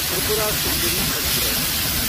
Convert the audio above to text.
Tripura Sundari express